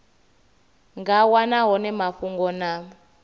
nga wana hone mafhungo na